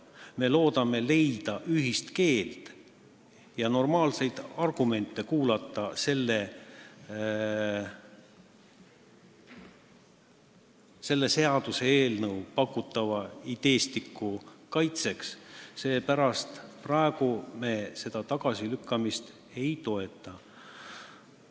Me loodame leida ühist keelt ja kuulda normaalseid argumente selles seaduseelnõus pakutava ideestiku kaitseks, seepärast me praegu tagasilükkamist ei toeta.